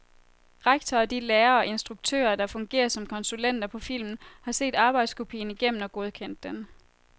Rektor og de lærere og instruktører, der fungerer som konsulenter på filmen, har set arbejdskopien igennem og godkendt den.